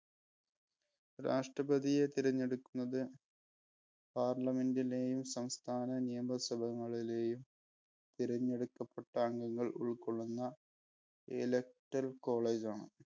രാഷ്ട്രപതിയെ തിരഞ്ഞെടുക്കുന്നത് Parliament ഇലെയും, സംസ്ഥാന നിയമസഭകളിലെയും തിരഞ്ഞെടുക്കപ്പെട്ട അംഗങ്ങൾ ഉൾപ്പെടുന്ന electral college ആണ്.